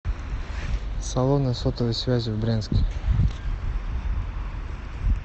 салоны сотовой связи в брянске